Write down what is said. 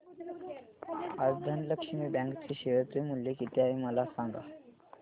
आज धनलक्ष्मी बँक चे शेअर चे मूल्य किती आहे मला सांगा